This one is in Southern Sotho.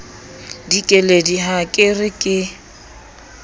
dikeledi ha ke re ke